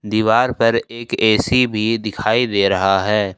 दीवार पर एक ऐ_सी भी दिखाई दे रहा है।